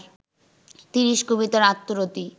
তিরিশি কবিতার আত্মরতি